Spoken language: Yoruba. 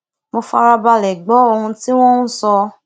mo fara balẹ̀ gbọ́ ohun tí wọ́n ń sọ